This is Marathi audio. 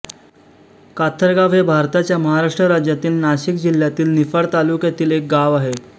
काथरगाव हे भारताच्या महाराष्ट्र राज्यातील नाशिक जिल्ह्यातील निफाड तालुक्यातील एक गाव आहे